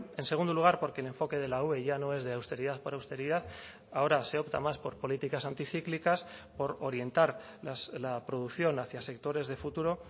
en segundo lugar porque el enfoque de la ue ya no es de austeridad por austeridad ahora se opta más por políticas anticíclicas por orientar la producción hacia sectores de futuro